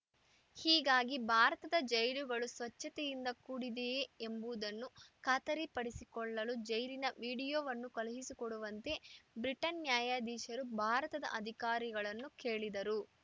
ಹೀಗಾಗಿ ಭಾರತದ ಜೈಲುಗಳು ಸ್ವಚ್ಛತೆಯಿಂದ ಕೂಡಿದೆಯೇ ಎಂಬುದನ್ನು ಖಾತರಿಪಡಿಸಿಕೊಳ್ಳಲು ಜೈಲಿನ ವಿಡಿಯೋವನ್ನು ಕಳುಹಿಸಿಕೊಡುವಂತೆ ಬ್ರಿಟನ್‌ ನ್ಯಾಯಾಧೀಶರು ಭಾರತದ ಅಧಿಕಾರಿಗಳನ್ನು ಕೇಳಿದ್ದರು